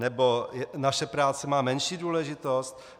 Nebo naše práce má menší důležitost?